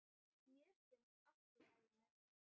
Mér finnst allt í lagi með hann.